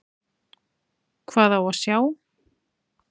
Hvað á að sjá?